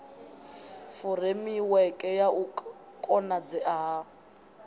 furemiweke ya u konadzea ha